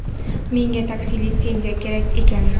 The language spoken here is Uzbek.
Menga taksi litsenziyasi kerak ekan.